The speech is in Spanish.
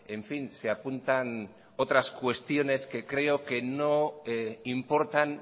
en fin se apuntan otras cuestiones que creo que no importan